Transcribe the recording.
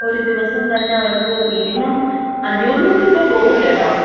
ഒരു ദിവസം തന്ന അവർക്ക് മിനിമം, അഞ്ഞൂറിനൊന്നും ഇപ്പൊ പോവൂല കേട്ടാ.